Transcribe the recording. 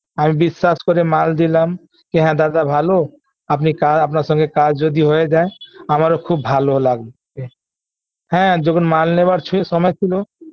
আমি বিশ্বাস করে মাল দিলাম কি হ্যাঁ দাদা ভালো আপনি কা আপনার সাথে কাজ যদি হয়ে যায় আমারও খুব ভালো লাগবে হ্যাঁ যখন মাল নেওয়ার স সময় ছিল